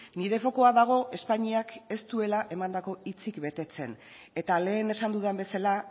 nire fokua dago espainiak ez duela emandako hitzik betetzen eta lehen esan dudan bezala